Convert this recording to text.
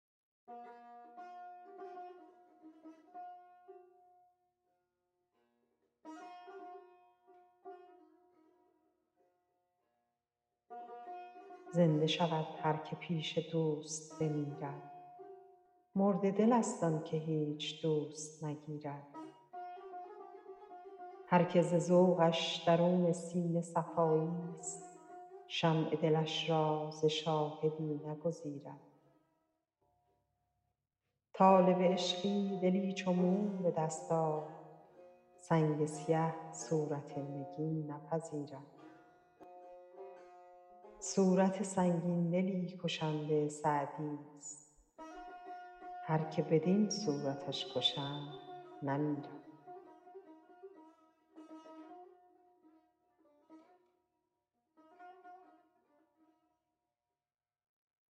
زنده شود هر که پیش دوست بمیرد مرده دلست آن که هیچ دوست نگیرد هر که ز ذوقش درون سینه صفاییست شمع دلش را ز شاهدی نگزیرد طالب عشقی دلی چو موم به دست آر سنگ سیه صورت نگین نپذیرد صورت سنگین دلی کشنده سعدیست هر که بدین صورتش کشند نمیرد